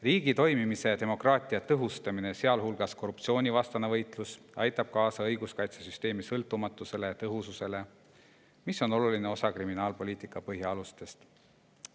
Riigi toimimise ja demokraatia tõhustamine, sealhulgas korruptsioonivastane võitlus, aitab kaasa õiguskaitsesüsteemi sõltumatusele ja tõhususele, mis on oluline osa kriminaalpoliitika põhialustest.